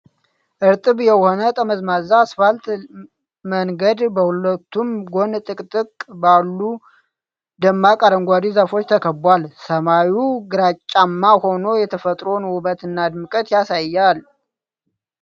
እርጥብ የሆነ ጠመዝማዛ አስፋልት መንገድ በሁለቱም ጎን ጥቅጥቅ ባሉ ደማቅ አረንጓዴ ዛፎች ተከቧል። ሰማዩ ግራጫማ ሆኖ የተፈጥሮን ውበትና ድምቀት ያሳያል።